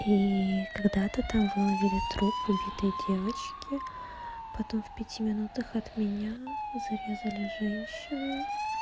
и когда-то там выловили труп убитой девочки потом в пяти минутах от меня зарезали женщину